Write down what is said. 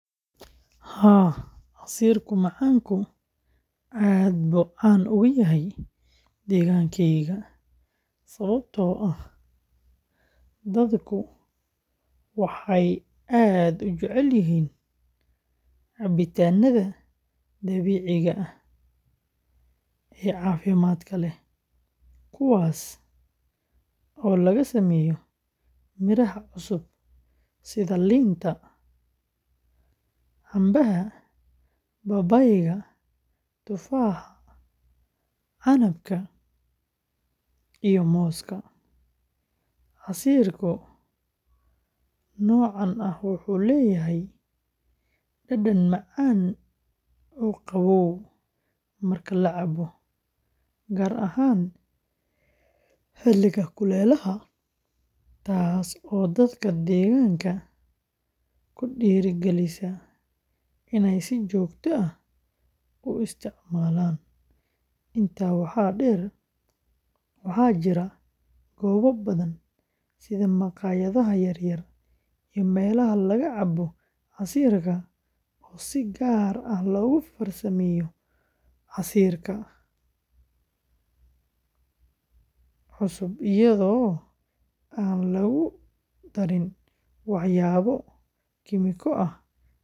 Haa, casiirka macaanku aad buu caan uga yahay deegaankaaga, sababtoo ah dadku waxay aad u jecel yihiin cabitaanada dabiiciga ah ee caafimaadka leh, kuwaas oo laga sameeyo miraha cusub sida liinta, cambeha, babaayga, tufaaxa, canabka iyo muuska. Casiirka noocan ah wuxuu leeyahay dhadhan macaan oo qabow marka la cabo, gaar ahaan xiliga kulaylaha, taas oo dadka deegaanka ku dhiirrigelisa inay si joogto ah u isticmaalaan. Intaa waxaa dheer, waxaa jira goobo badan sida makhaayadaha yaryar iyo meelaha laga cabo casiirka oo si gaar ah loogu farsameeyo casiirka cusub iyadoo aan lagu darin waxyaabo kiimiko ah.